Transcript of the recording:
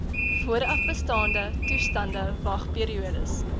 voorafbestaande toestande wagperiodes